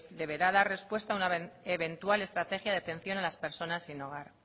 deberá dar respuesta una eventual estrategia de atención a las personas sin hogar